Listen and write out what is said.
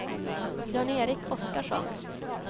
Jan-Erik Oskarsson